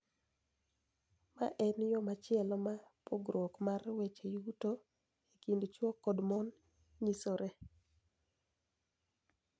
Ma en yo machielo ma pogruok mar weche yuto e kind chwo kod mon nyisore.